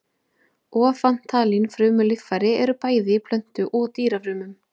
Ofantalin frumulíffæri eru bæði í plöntu- og dýrafrumum.